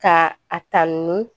Ka a ta nun